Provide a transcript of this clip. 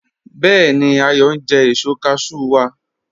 Bẹẹ̀ni, Ayọ n jẹ èṣọ́ cashew wa